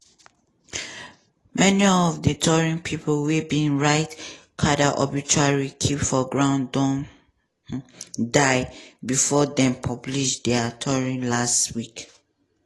many of di tori pipo wey bin write carter obituary keep for ground don die bifor dem publish dia tori last week.